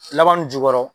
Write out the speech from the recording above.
Laban nun jukɔrɔ